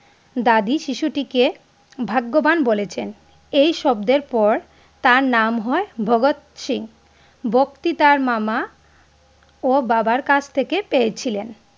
দাদি শিশু থেকে ভাগ্যবান বলেছেন এই শব্দে পর তার নাম হয় ভাগত সিং, ভক্তি তার মামা ও বাবা কাছ থেকে পেয়েছিলেন।